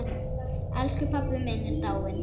Elsku pabbi minn er dáinn.